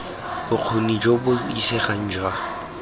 bokgoni jo bo isegang jwa